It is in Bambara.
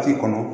Waati kɔnɔ